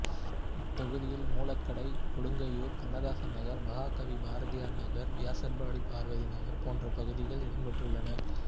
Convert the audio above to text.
இத்தொகுதியில் மூலக்கடை கொடுங்கையூர் கண்ணதாசன் நகர் மகாகவி பாரதியார் நகர் வியாசர்பாடி பார்வதி நகர் போன்ற பகுதிகள் இடம் பெற்றுள்ளன